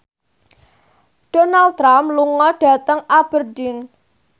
Donald Trump lunga dhateng Aberdeen